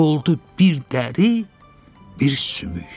oldu bir dəri, bir sümük.